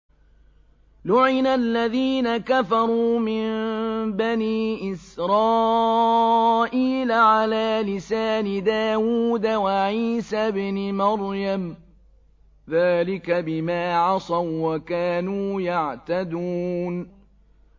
لُعِنَ الَّذِينَ كَفَرُوا مِن بَنِي إِسْرَائِيلَ عَلَىٰ لِسَانِ دَاوُودَ وَعِيسَى ابْنِ مَرْيَمَ ۚ ذَٰلِكَ بِمَا عَصَوا وَّكَانُوا يَعْتَدُونَ